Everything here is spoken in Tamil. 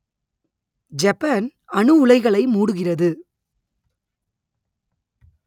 ஜப்பான் அணு உலைகளை மூடுகிறது